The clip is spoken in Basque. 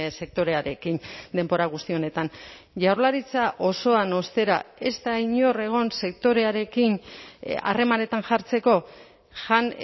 sektorearekin denbora guzti honetan jaurlaritza osoan ostera ez da inor egon sektorearekin harremanetan jartzeko jan